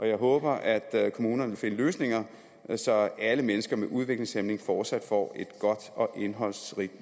jeg håber at kommunerne vil finde løsninger så alle mennesker med udviklingshæmning fortsat får et godt og indholdsrigt